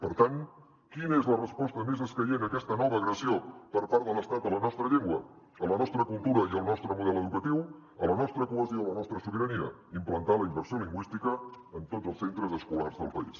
per tant quina és la resposta més escaient a aquesta nova agressió per part de l’estat a la nostra llengua a la nostra cultura i al nostre model educatiu a la nostra cohesió a la nostra sobirania implantar la immersió lingüística en tots els centres escolars del país